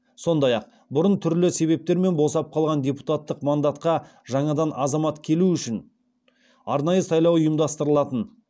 сондай ақ бұрын түрлі себептермен босап қалған депутаттық мандатқа жаңадан азамат келу үшін арнайы сайлау ұйымдастырылатын